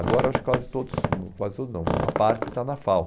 Agora acho que quase todos, hum quase todos não, uma parte está na FAU.